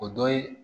O dɔ ye